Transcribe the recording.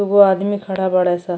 एगो आदमी खड़ा बाड़े सन।